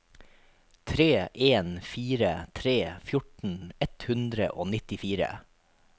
tre en fire tre fjorten ett hundre og nittifire